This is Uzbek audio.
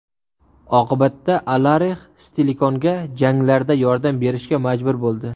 Oqibatda, Alarix Stilikonga janglarda yordam berishga majbur bo‘ldi.